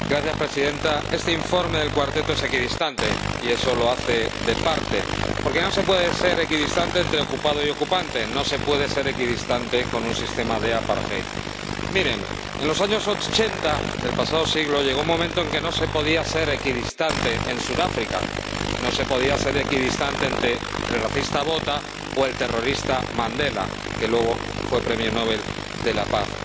Señora Presidenta, este informe de el Cuarteto es equidistante y eso lo hace parcial, porque no se puede ser equidistante entre ocupado y ocupante, no se puede ser imparcial con respecto a un sistema de Miren, en los años ochenta del pasado siglo llegó un momento en que no se podía ser equidistante en Sudáfrica, no se podía ser equidistante entre el racista Botha y el terrorista Mandela, que luego fue premio Nobel de la Paz.